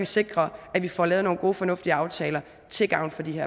sikre at vi får lavet nogle gode og fornuftige aftaler til gavn for de